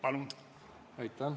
Palun!